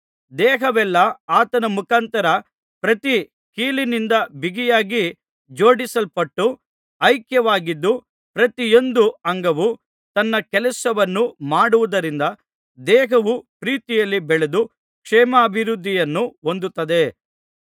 ದೇಹವೆಲ್ಲಾ ಆತನ ಮುಖಾಂತರ ಪ್ರತಿ ಕೀಲಿನಿಂದ ಬಿಗಿಯಾಗಿ ಜೋಡಿಸಲ್ಪಟ್ಟು ಐಕ್ಯವಾಗಿದ್ದು ಪ್ರತಿಯೊಂದು ಅಂಗವು ತನ್ನ ಕೆಲಸವನ್ನು ಮಾಡುವುದರಿಂದ ದೇಹವು ಪ್ರೀತಿಯಲ್ಲಿ ಬೆಳೆದು ಕ್ಷೇಮಾಭಿವೃದ್ಧಿಯನ್ನು ಹೊಂದುತ್ತದೆ